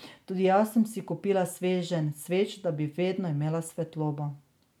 Tudi jaz sem si kupila sveženj sveč, da bi vedno imela svetlobo.